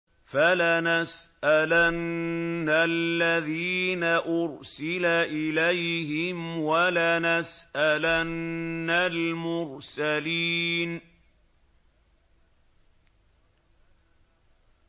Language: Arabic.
فَلَنَسْأَلَنَّ الَّذِينَ أُرْسِلَ إِلَيْهِمْ وَلَنَسْأَلَنَّ الْمُرْسَلِينَ